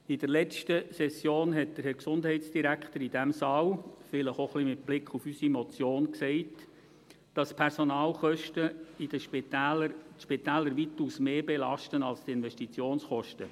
In der letzten Session sagte der Herr Gesundheitsdirektor in diesem Saal – vielleicht auch ein wenig mit Blick auf unsere Motion –, dass die Personalkosten die Spitäler weitaus mehr belasten als die Investitionskosten.